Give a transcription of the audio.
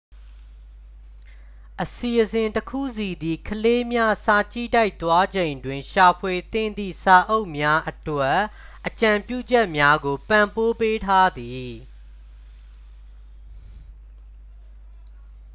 အစီအစဉ်တစ်ခုစီသည် ကလေးများ စာကြည့်တိုက် သွားချိန်တွင် ရှာဖွေသင့်သည့် စာအုပ်များအတွက် အကြံပြုချက်များကို ပံ့ပိုးပေးထားသည်